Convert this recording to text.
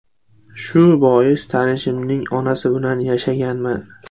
Shu bois tanishimning onasi bilan yashaganman.